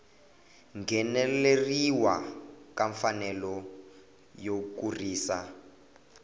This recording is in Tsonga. ngheneleriwa ka mfanelo yo kurisa